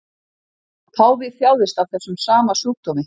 Páfi þjáðist af þessum sama sjúkdómi